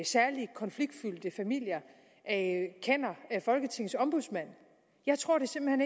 særlig konfliktfyldte familier kender folketingets ombudsmand jeg tror det simpelt